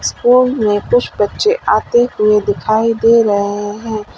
School में कुछ बच्चे आते हुए दिखाई दे रहे हैं।